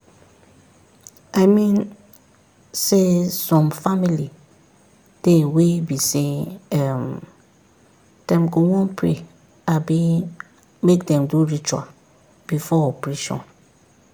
i mean saysome family dey wey be say um dem go wan pray abi make dem do ritual before operation.